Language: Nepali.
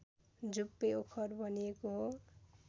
झुप्पे ओखर भनिएको हो